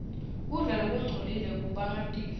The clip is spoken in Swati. kudla lokungcolile kubangatifo